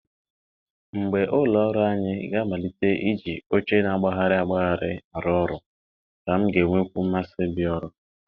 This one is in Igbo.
Mgbe ụlọ ọrụ anyị ga-amalite iji oche na-agbagharị agbagharị arụ ọrụ, ka m ga-enwekwu mmasị ịbịa ọrụ